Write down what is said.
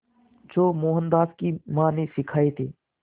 जो मोहनदास की मां ने सिखाए थे